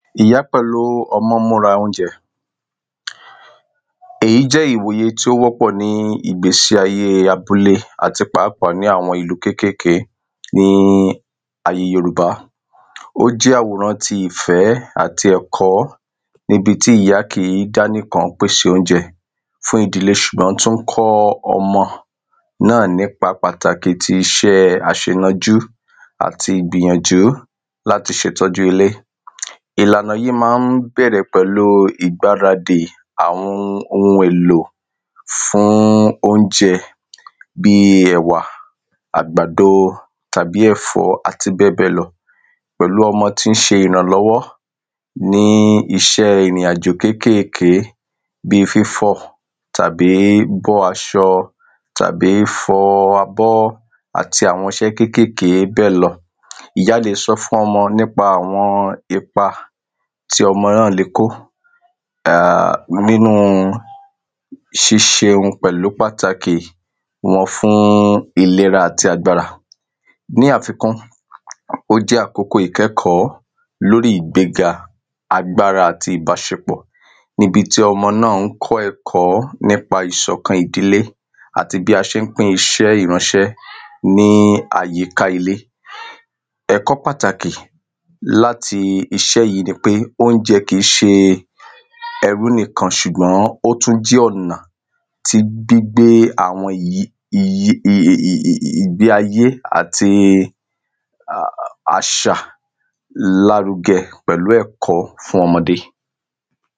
Ìyá pẹ̀lú ọmọ múra óunjẹ Èyí jẹ́ iwoye tí ó wọ́pọ̀ ní ìgbésí ayé àbúlé àti pàápàá ní àwọn ìlú kékèké ní ayè Yorùbá O jẹ́ àwòrán ti ìfẹ́ àti ẹ̀kọ́ ní ibi tí ìyá kìí dá nìkan pèsè óunjẹ fún ìdílé ṣùgbọ́n tí ó ń kọ́ ọmọ náà ní ipa pàtàkì tí iṣe àṣènanjú àti ìgbìyànjú láti ṣe ìtọ́jú ilé Ìlànà yìí máa ń bẹ̀rẹ̀ pẹ̀lú ìgbàradi fún àwọn oun èlò fún óunjẹ bíi ẹ̀wà àgbàdo tàbí ẹ̀fọ́ àti bẹ́ẹ̀bẹ́ẹ̀ lọ Pẹ̀lú ọmọ tí ń ṣe ìrànlọ́wọ́ ní iṣẹ́ ìrìnàjò kékèké bíi fífọ̀ tàbí bọ́ aṣọ tàbí fọ abọ́ àti iṣẹ́ kékèké bẹ́ẹ̀ lọ Ìyá lè sọ fún ọmọ nípa àwọn ipa tí ọmọ náà lè kó um nínú ṣiṣe oun pẹ̀lú pàtàkì wọn fún ìlera àti agbára Ní àfikún ó jẹ́ àkókò ìkẹ́kọ̀ọ́ lórí ìgbéga agbára àti ìbáṣepọ̀ ní ibi tí ọmọ tí ń kọ ẹ̀kọ́ nípa ìṣọ̀kan ìdílé àti bí a ṣe ń pín iṣẹ́ ìránṣẹ́ ní àyíká ilé Ẹ̀kọ́ pàtàkì láti iṣẹ́ yìí ni pé óunjẹ kìí ṣe ẹrú nìkan ṣùgbọ́n ó tún jẹ́ ọ̀nà tí gbígbé àwọn ìgbé ayé um àti àṣà lárugẹ pẹ̀lú ẹ̀kọ́ fún ọmọdé